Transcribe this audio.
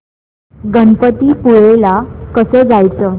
गणपतीपुळे ला कसं जायचं